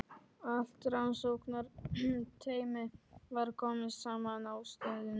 Allt rannsóknarteymið var komið saman á stöðinni.